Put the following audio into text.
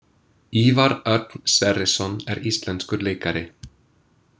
Ívar Örn Sverrisson er íslenskur leikari.